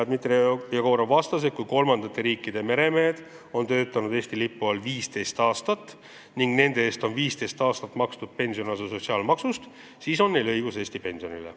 Dmitri Jegorov vastas, et kui kolmandate riikide meremehed on töötanud Eesti lipu all 15 aastat ning nende eest on 15 aastat makstud pensionikindlustuse osa sotsiaalmaksust, siis on neil õigus Eesti pensionile.